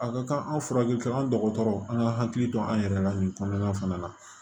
A ka kan an furakɛli ka an dɔgɔtɔrɔ an ka hakili to an yɛrɛ la nin kɔnɔna fana na